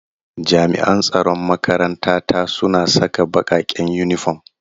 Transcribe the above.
Jami'an tsaron makaranta ta suna saka bakaken uniform.